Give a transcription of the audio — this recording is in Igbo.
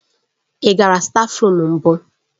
Ị gara stáfruum mbụ?